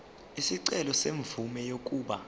isicelo semvume yokuba